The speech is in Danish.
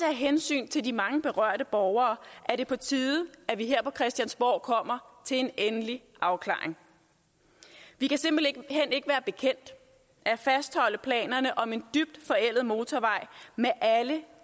af hensyn til de mange berørte borgere er det på tide at vi her på christiansborg kommer til en endelig afklaring vi kan simpelt hen ikke være bekendt at fastholde planerne om en dybt forældet motorvej med alle